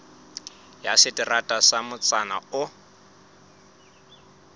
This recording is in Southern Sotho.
ya seterata sa motsana oo